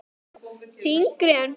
Þyngri en blý.